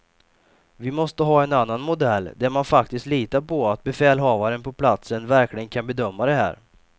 Vi måste ha en annan modell där man faktiskt litar på att befälhavaren på platsen verkligen kan bedöma det här.